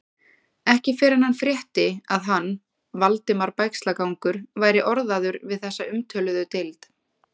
Ekki fyrr en hann frétti, að hann, Valdimar Bægslagangur, væri orðaður við þessa umtöluðu deild.